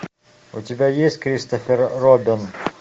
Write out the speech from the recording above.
у тебя есть кристофер робин